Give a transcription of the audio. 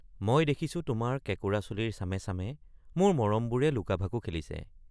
মই দেখিছো তোমাৰ কেঁকোৰা চুলিৰ চামে চামে মোৰ মৰমবোৰে লুকাভাকু খেলিছে।